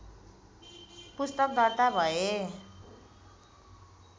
पुस्तक दर्ता भए